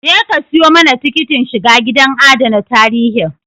Je ka ka siyo mana tikitin shiga gidan adana tarihin